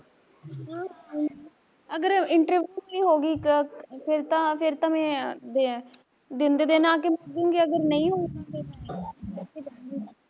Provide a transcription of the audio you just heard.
ਹਾਂ ਹਾਂ ਆਊਗੀ, ਅਗਰ interview ਵੀ ਹੋਗੀ ਇੱਕ ਫੇਰ ਤਾਂ ਫੇਰ ਤਾਂ ਮੈਂ ਦਿਨ ਦਾ ਦਿਨ ਆ ਕੇ ਮੁੜ੍ਜੂਗੀ ਅਗਰ ਨਹੀਂ ਹੋਉਗੀ ਫੇਰ ਰਹਲੂਗੀ